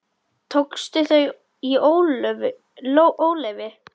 Tókstu þau í óleyfi?